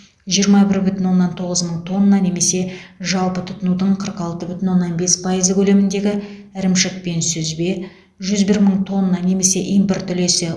жиырма бір бүтін оннан тоғыз мың тонна немесе жалпы тұтынудың қырық алты бүтін оннан бес пайызы көлеміндегі ірімшік пен сүзбе жүз бір мың тонна немесе импорт үлесі